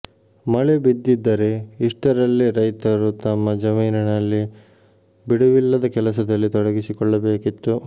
ಮಳೆ ಬಿದ್ದಿದ್ದರೆ ಇಷ್ಟರಲ್ಲೇ ರೈತರು ತಮ್ಮ ಜಮೀನಿನಲ್ಲಿ ಬಿಡುವಿಲ್ಲದ ಕೆಲಸದಲ್ಲಿ ತೊಡಗಿಸಿಕೊಳ್ಳಬೇಕಿತ್ತು